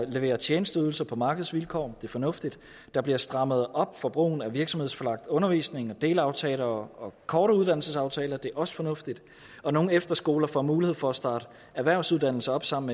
levere tjenesteydelser på markedsvilkår det er fornuftigt der bliver strammet op for brugen af virksomhedsforlagt undervisning og delaftaler og korte uddannelsesaftaler det er også fornuftigt og nogle efterskoler får mulighed for at starte erhvervsuddannelser op sammen